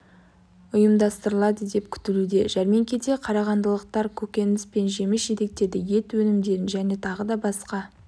ұйымдастырылады деп күтілуде жәрмеңкеде қарағандылықтар көкөніс пен жеміс жидектерді ет өнімдерін және тағы да басқа